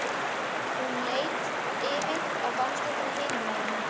Hún leit yfir á gangstéttina hinum megin.